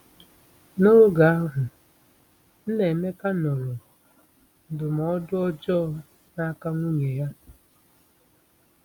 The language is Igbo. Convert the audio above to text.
N’oge ahụ, Nnaemeka nụrụ ndụmọdụ ọjọọ n’aka nwunye ya.